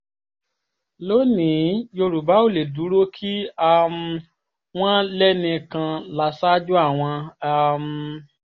lónì-ín yorùbá ò lè dúró kí um wọ́n lẹ́nì kan lásàájú àwọn um